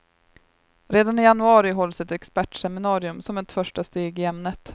Redan i januari hålls ett expertseminarium som ett första steg i ämnet.